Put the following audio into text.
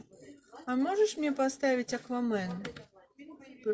а можешь мне поставить аквамен